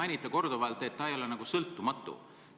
Te olete korduvalt märkinud, et ta ei ole nagu sõltumatu.